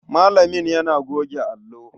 Malamin yana goge allo.